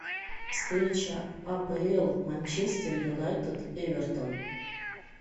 встреча апл манчестер юнайтед эвертон